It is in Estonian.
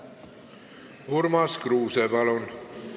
Urmas Kruuse, palun!